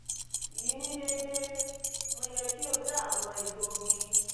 yi ni deede? mo yẹ ki o da awọn egboogi?